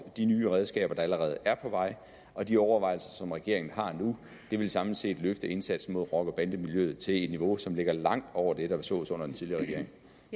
de nye redskaber der allerede er på vej og de overvejelser som regeringen har nu samlet set vil løfte indsatsen mod rocker bande miljøet til et niveau som ligger langt over det der sås under den tidligere